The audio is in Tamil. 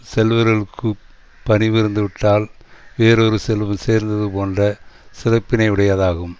செல்வர்களுக்குப் பணிவு இருந்து விட்டால் வேறொரு செல்வம் சேர்ந்தது போன்ற சிறப்பினையுடையதாகும்